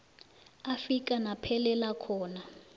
afika naphelela khona